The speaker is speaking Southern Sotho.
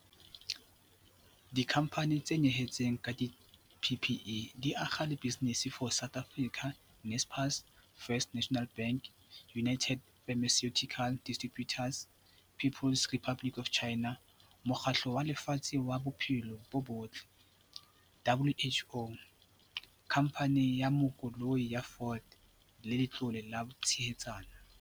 Dikhamphani tse nyehetseng ka di-PPE di akga le Business for South Africa, Naspers, First National Bank, United Pharmaceutical Distributors, People's Republic of China, Mokgatlo wa Lefatshe wa Bophelo bo Botle, WHO, Khamphani ya Makoloi ya Ford le Letlole la Tshehetsano.